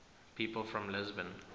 people from lisbon